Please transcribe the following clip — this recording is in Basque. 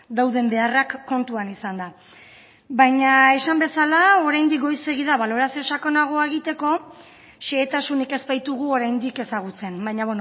dauden beharrak kontuan izanda baina esan bezala oraindik goizegi da balorazio sakonagoa egiteko xehetasunik ez baitugu oraindik ezagutzen baina